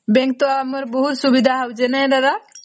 bank ତ ଆମର ବହୁତ ସୁବିଧା ହଉଛେ ନାଇଁ ଦାଦା ?